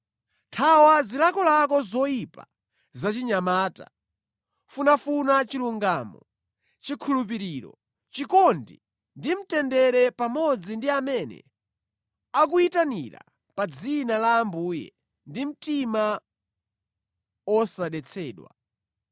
Thawa zilakolako zoyipa zachinyamata. Funafuna chilungamo, chikhulupiriro, chikondi ndi mtendere pamodzi ndi amene akuyitanira pa dzina la Ambuye ndi mtima osadetsedwa.